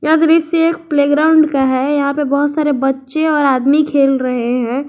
यह दृश्य एक प्लेग्राउंड का है यहां पे बहुत सारे बच्चे और आदमी खेल रहे हैं।